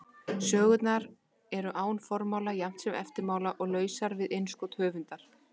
Sögurnar eru án formála jafnt sem eftirmála og lausar við innskot höfundar.